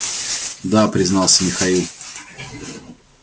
да признался михаил